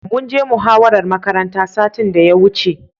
Mun je muhawarar makaranta satin da ya wuce.